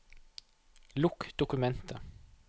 Lukk dokumentet